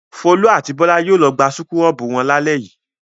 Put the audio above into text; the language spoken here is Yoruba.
Folú a ti Bọ́lá yóò lọ gba súkúrọ́bù wọn lálẹ́ yìí.